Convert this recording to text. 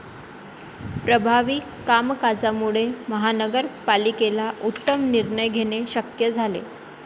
प्रभावी कामकाजामुळे महानगर पालिकेला उत्तम निर्णय घेणे शक्य झाले.